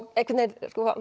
einhvern veginn